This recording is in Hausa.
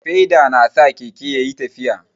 Feda na sa Keke ya ƴi tafiya.